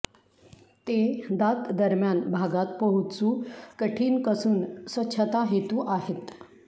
ते दात दरम्यान भागात पोहोचू कठीण कसून स्वच्छता हेतू आहेत